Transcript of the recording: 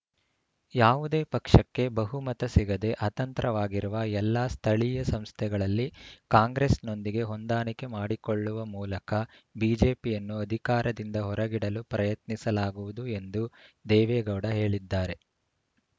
ಯಾವುದೇ ಪಕ್ಷಕ್ಕೆ ಬಹುಮತ ಸಿಗದೆ ಅತಂತ್ರವಾಗಿರುವ ಎಲ್ಲಾ ಸ್ಥಳೀಯ ಸಂಸ್ಥೆಗಳಲ್ಲಿ ಕಾಂಗ್ರೆಸ್‌ನೊಂದಿಗೆ ಹೊಂದಾಣಿಕೆ ಮಾಡಿಕೊಳ್ಳುವ ಮೂಲಕ ಬಿಜೆಪಿಯನ್ನು ಅಧಿಕಾರದಿಂದ ಹೊರಗಿಡಲು ಪ್ರಯತ್ನಿಸಲಾಗುವುದು ಎಂದು ದೇವೇಗೌಡ ಹೇಳಿದ್ದಾರೆ